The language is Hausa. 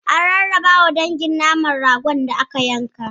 An rarrabawa dangin naman ragon da aka yanka.